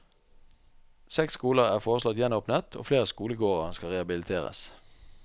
Seks skoler er foreslått gjenåpnet og flere skolegårder skal rehabiliteres.